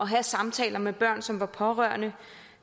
have samtaler med børn som var pårørende